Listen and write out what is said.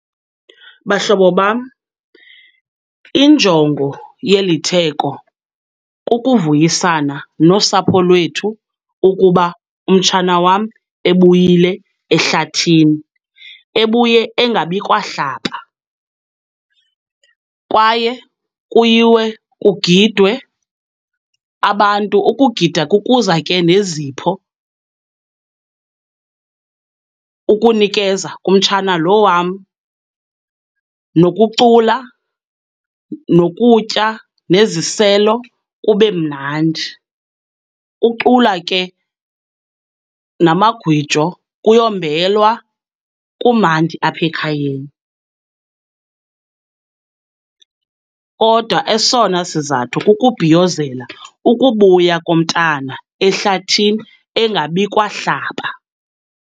Bahlobo bam, injongo yeli theko kukuvuyisana nosapho lwethu ukuba umtshana wam ebuyile ehlathini, ebuye engabikwa hlaba. Kwaye kuyiwe kugidwe, abantu, ukugida kukuza ke nezipho ukunikeza kumtshana lo wam. Nokucula, nokutya, neziselo kube mnandi, kucula ke namagwijo, kuyombelwa, kumandi apha ekhayeni. Kodwa esona sizathu kukubhiyozela ukubuya komntana ehlathini engabikwa hlaba.